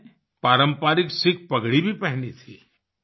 उन्होंने पारंपरिक सिख पगड़ी भी पहनी थी